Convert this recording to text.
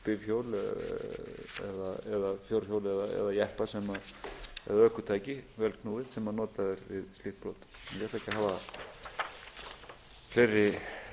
það bifhjól eða fjórhjól eða jeppa eða ökutæki vélknúið sem notað er við slíkt brot ég ætla ekki að hafa fleiri